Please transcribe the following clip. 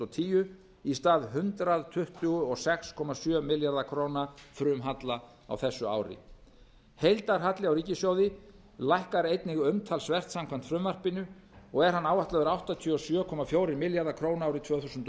tíu í stað hundrað tuttugu og sex komma sjö milljarða króna frumhalla á þessu ári heildarhalli á ríkissjóði lækkar einnig umtalsvert samkvæmt frumvarpinu og er hann áætlaður áttatíu og sjö komma fjórir milljarðar króna árið tvö þúsund